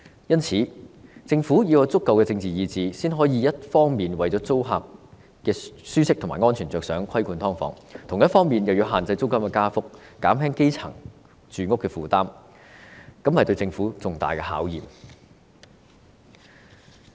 因此，政府要有足夠的政治意志，才能夠一方面為了租客的舒適和安全着想而規管"劏房"，另一方面限制租金加幅，減輕基層的住屋負擔，這是對政府重大的考驗。